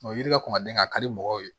O yiri la kuma den ka di mɔgɔw ye